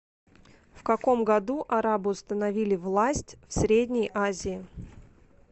в каком году арабы установили власть в средней азии